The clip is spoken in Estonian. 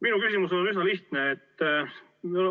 Minu küsimus on üsna lihtne.